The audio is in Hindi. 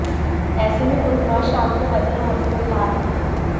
ऐसे में बुधवार शाम को बदले मौसम ने राहत दी है